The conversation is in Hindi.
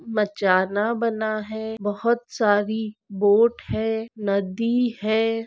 बचाना बना है बहुत सारी बोट है नदी है।